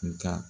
Nga